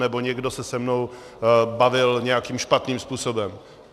Nebo někdo se se mnou bavit nějakým špatným způsobem.